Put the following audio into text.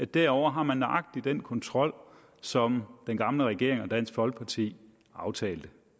derovre har nøjagtig den slags kontrol som den gamle regering og dansk folkeparti aftalte